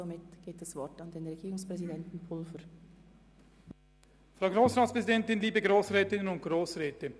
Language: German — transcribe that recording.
Somit hat der Herr Regierungspräsident Pulver das Wort.